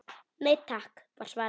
Nei takk var svarið.